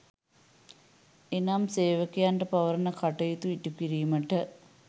එනම් සේවකයන්ට පවරන කටයුතු ඉටුකිරීමට